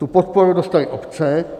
Tu podporu dostaly obce.